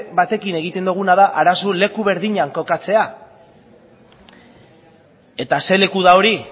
batekin egiten duguna da arazoa leku berdinean kokatzea eta zein leku da hori